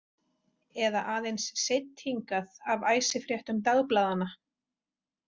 Eða aðeins seidd hingað af æsifréttum dagblaðanna?